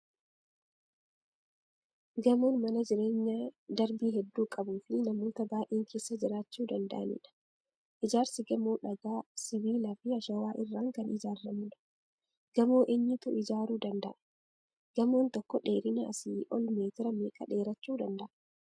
Gamoon mana jireenyaa darbii hedduu qabu fi namoota baay'een keessa jiraachuu danda'anidha. Ijaarsi gamoo dhagaa, sibiila fi ashawaa irraa kan ijaarramudha. gamoo eenyutu ijaaruu danda'a? gamoon tokko dheerina asii ol meetira meeqa dheerachuu danda'a?